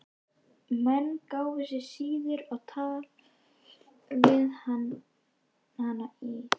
Menn gáfu sig síður á tal við hana í